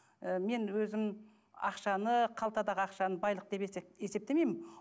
ы мен өзім ақшаны қалтадағы ақшаны байлық деп есептемеймін